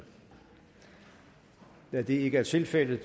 da det ikke er tilfældet